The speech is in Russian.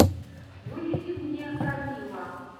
выведи мне кармилла